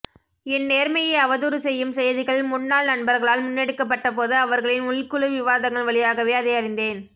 என் நேர்மையை அவதூறுசெய்யும் செய்திகள் முன்னாள்நண்பர்களால் முன்னெடுக்கப்பட்டபோது அவர்களின் உள்குழு விவாதங்கள் வழியாகவே அதை அறிந்தேன்